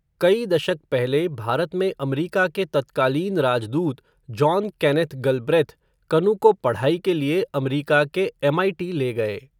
कई दशक पहले, भारत में अमरीका के तत्कालीन राजदूत, जॉन केनेथ गलब्रेथ, कनु को पढ़ाई के लिए अमरीका के एमआईटी ले गए.